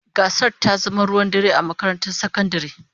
Gasar ta zama ruwan dare a makarantar sakandare.